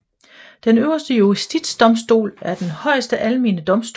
Den øverste justisdomstol er den højeste almene domstol